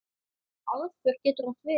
Aðför getur átt við